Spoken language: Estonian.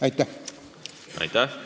Aitäh!